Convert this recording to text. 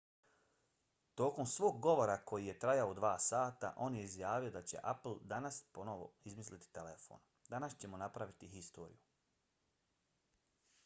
tokom svog govora koji je trajao 2 sata on je izjavio da će apple danas ponovo izmisliti telefon. danas ćemo napraviti istoriju.